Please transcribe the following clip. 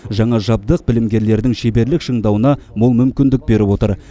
жаңа жабдық білімгерлердің шеберлік шыңдауына мол мүмкіндік беріп отыр